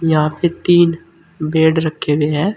यहां पे तीन बेड रखे हुए है।